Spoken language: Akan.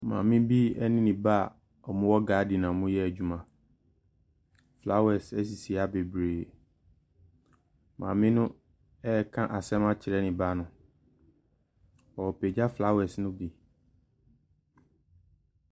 Maame bi ne ne ba a wɔwɔ garden a wɔreyɛ adwuma. Flowers sisi ha bebree. Maame no reka asɛm akyerɛ ne ba no. ɔrepagya flowers no bi.